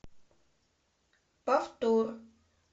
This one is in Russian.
повтор